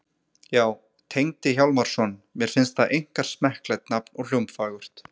Já, Tengdi Hjálmarsson. mér finnst það einkar smekklegt nafn og hljómfagurt.